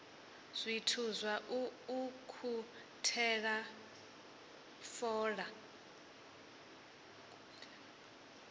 zwithu zwa u ukhuthela fola